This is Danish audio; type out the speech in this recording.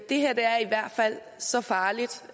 det her er i hvert fald så farligt